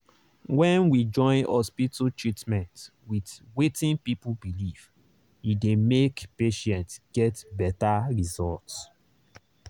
when we join hospital treatment with wetin people believe e dey make patients get better result.